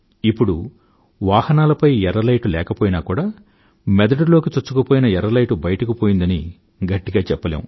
ఇప్పుడు వాహనాలపై ఎర్ర లైట్ పోయినా కూడా మెదడులోకి చొచ్చుకుపోయిన ఎర్ర లైటు బయటకు పోయిందని గట్టిగా చెప్పలేము